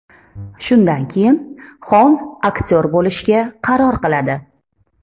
Shundan keyin Xon aktyor bo‘lishga qaror qiladi.